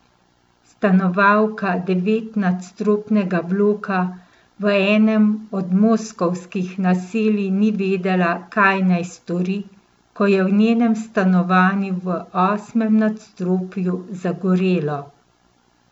Stanovalka devetnadstropnega bloka v enem od moskovskih naselij ni vedela, kaj naj stori, ko je v njenem stanovanju v osmem nadstropju zagorelo.